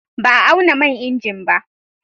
Ba a auna man injin ba.